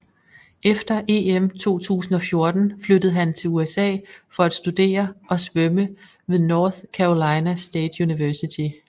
Efter EM 2014 flyttede han til USA for at studere og svømme ved North Carolina State University